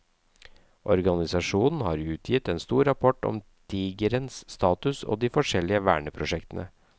Organisasjonen har utgitt en stor rapport om tigerens status og de forskjellige verneprosjektene.